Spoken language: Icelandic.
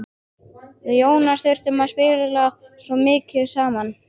Við Jónas þurftum að spjalla svo mikið saman.